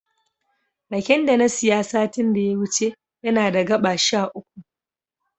Raken da na siya satin da ya wuce yana da gaɓa sha uku.